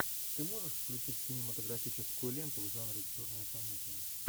ты можешь включить кинематографическую ленту в жанре черная комедия